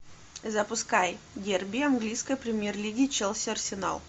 запускай дерби английской премьер лиги челси арсенал